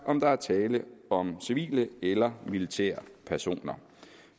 om der er tale om civile eller militære personer